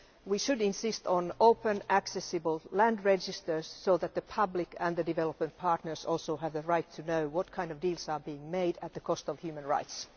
We should insist on open accessible land registers so that the public and developing partners also have the right to know what kind of deals are being made at the cost of human rights.